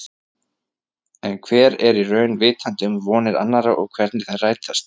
En hver er í raun vitandi um vonir annarra og hvernig þær rætast.